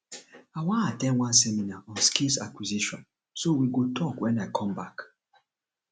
i wan at ten d one seminar on skills acquisition so we go talk wen i come back